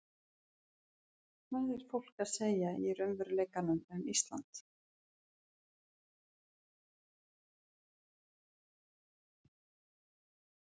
Hvað er fólk að segja í raunveruleikanum um Ísland?